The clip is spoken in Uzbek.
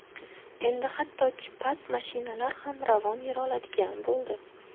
Endi hattoki past mashinalar ham ravon yura oladigan bo‘ldi.